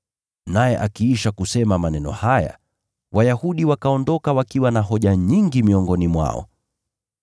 Naye akiisha kusema maneno haya, Wayahudi wakaondoka wakiwa na hoja nyingi miongoni mwao.]